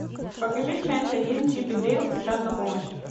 покажи часть один чип и дейл спешат на помощь